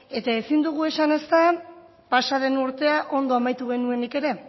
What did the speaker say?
eta ezin dugu esan ezta pasaden urtea ondo amaitu genuenik ere